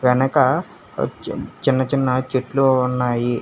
వెనక ఆ చిన్నచిన్న చెట్లు ఉన్నాయి.